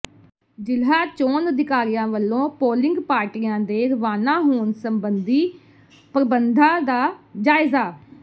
ਜ਼ਿਲ੍ਹਾ ਚੋਣ ਅਧਿਕਾਰੀ ਵੱਲੋਂ ਪੋਲਿੰਗ ਪਾਰਟੀਆਂ ਦੇ ਰਵਾਨਾ ਹੋਣ ਸਬੰਧੀ ਪ੍ਰਬੰਧਾਂ ਦਾ ਜਾਇਜ਼ਾ